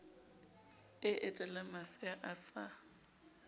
e etelang masea a sa